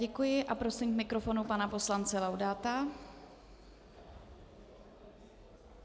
Děkuji a prosím k mikrofonu pana poslance Laudáta.